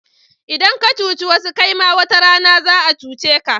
Idan ka cuci wasu kaima wata rana za'a cuce ka.